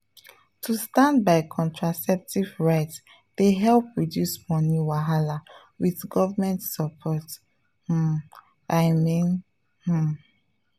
to stand by contraceptive rights dey help reduce money wahala with government support um… i mean… um.